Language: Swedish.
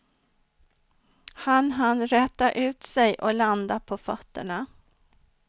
Han hann räta ut sig och landa på fötterna.